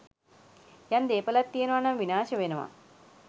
යම් දේපළක් තියෙනවා නම්, විනාශ වෙනවා.